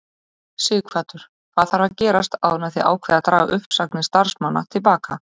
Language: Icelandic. Sighvatur: Hvað þarf að gerast áður en þið ákveðið að draga uppsagnir starfsmanna til baka?